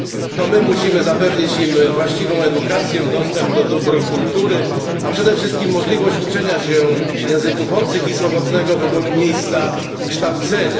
To my musimy zapewnić im właściwą edukację, dostęp do dóbr kultury, a przede wszystkim możliwość uczenia się języków obcych i swobodnego wyboru miejsca kształcenia.